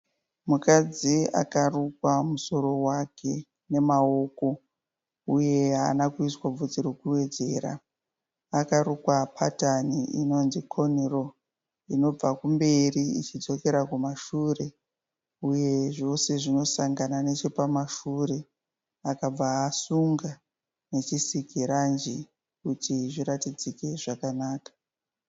Mukadzi akarukwa musoro wake nemaoko uye haana kuiswa bvudzi rekuwedzera. Akarukwa patani inonzi 'cornraw', inobva kumberi ichidzokera kumashure uye zvose zvinosangana nechepamashure, akabva asunga nechisikiranji kuti zviratidzike zvakanaka.